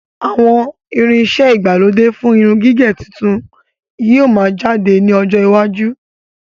Àwọn irin iṣẹ ìgbàlódé fún irun gígẹ̀ tuntun yìí ó máa jáde ní ọjọ́ iwájú.